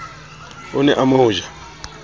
o ne a mo ja